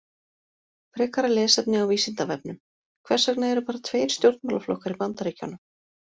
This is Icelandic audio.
Frekara lesefni á Vísindavefnum: Hvers vegna eru bara tveir stjórnmálaflokkar í Bandaríkjunum?